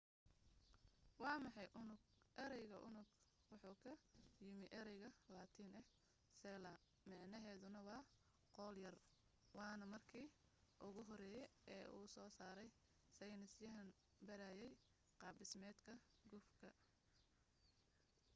waa maxay unug ereyga unug wuxuu ka yimi erey latiini ah cella micnaheduna waa qol yar waana marki ugu horey ee uu soo sarey seynis yahaan barayey qaab dhismeedka gufka